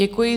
Děkuji.